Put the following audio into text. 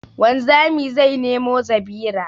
Wanzami zai nemo zabira